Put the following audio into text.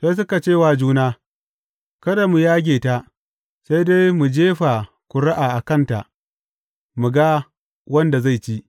Sai suka ce wa juna, Kada mu yage ta, sai dai mu jefa ƙuri’a a kanta mu ga wanda zai ci.